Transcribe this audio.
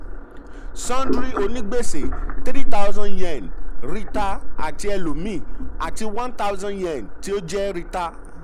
sundry onígbèsè: three thousand yen (reeta àti elòmíì) àti one thousand yen tí ó jẹ reeta. jẹ reeta.